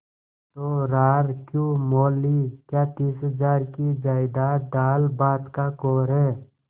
तो रार क्यों मोल ली क्या तीस हजार की जायदाद दालभात का कौर है